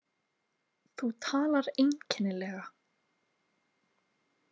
Þú talar einkennilega.